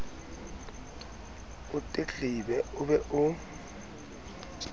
o tletlebe o be o